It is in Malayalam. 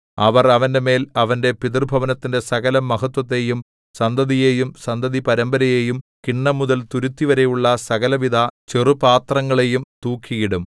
അവർ അവന്റെമേൽ അവന്റെ പിതൃഭവനത്തിന്റെ സകലമഹത്ത്വത്തെയും സന്തതിയെയും സന്തതിപരമ്പരയെയും കിണ്ണംമുതൽ തുരുത്തിവരെയുള്ള സകലവിധ ചെറുപാത്രങ്ങളെയും തൂക്കിയിടും